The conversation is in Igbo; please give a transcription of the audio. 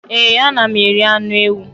Ee, ana m eri anụ ewu.